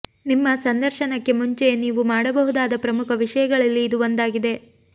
ನಿಮ್ಮ ಸಂದರ್ಶನಕ್ಕೆ ಮುಂಚೆಯೇ ನೀವು ಮಾಡಬಹುದಾದ ಪ್ರಮುಖ ವಿಷಯಗಳಲ್ಲಿ ಇದು ಒಂದಾಗಿದೆ